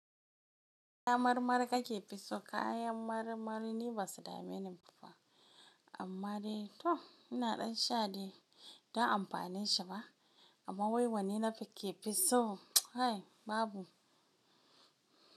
Kayan mar mar kakefi so kayan maramari ne basu da menen fa, amma dai to ina dan sha dai ba ta amfanin shi ba. Amma wai wane nafi kefi so? Hai babu.